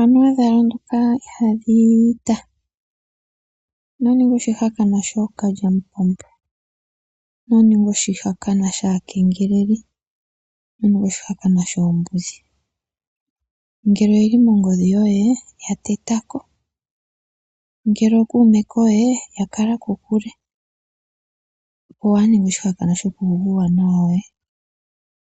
Anuwa dhalondoka ihadhiyi iita. Ino ninga oshihakanwa shookalyamupombo, ino ninga oshihakanwa shaakengeleli, ino ninga oshihakanwa shoombudhi. Ngele oyeli mongodhi yoye yatetako. Ngele ookume koye yakala kokule. Opo waa ninge oshihakanwa shoku yugwa uuwanawa woye